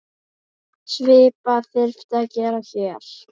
Svipað þyrfti að gera hér.